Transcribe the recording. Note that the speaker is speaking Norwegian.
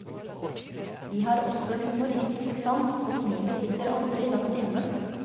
De har også humoristisk sans, og smilet sitter aldri langt inne.